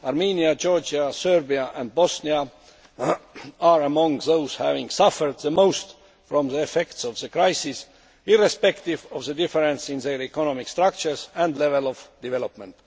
Armenia, Georgia, Serbia and Bosnia are among those having suffered the most from the effects of the crisis, irrespective of the difference in their economic structures and level of development.